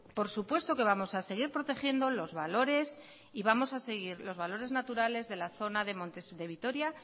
por supuesto que vamos a seguir protegiendo los valores y vamos a seguir los valores naturales de la zona de montes de vitoria